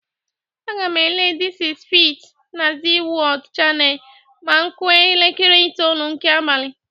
Aga m ele "Dis is Feit' na Zee Wọld chanel ma ọ kụa elekere itolu nke abalị.